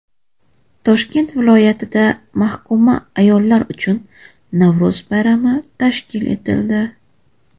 Toshkent viloyatida mahkuma ayollar uchun Navro‘z bayrami tashkil etildi .